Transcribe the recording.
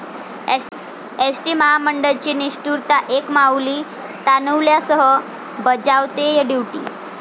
ST महामंडळाची निष्ठुरता, एक माऊली तान्हुल्यासह बजावतेय ड्युटी!